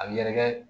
A bɛ yɛrɛkɛ